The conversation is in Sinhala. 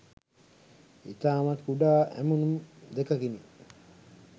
ඉතාමත් කුඩා ඇමුණුම් 2කිනි.